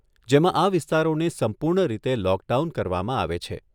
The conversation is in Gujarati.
જેમાં આ વિસ્તારોને સંપૂર્ણ રીતે લોકડાઉન કરવામાં આવે છે.